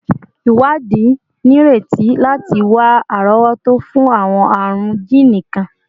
Iwadi nireti lati wa arowoto fun awọn arun jiini kan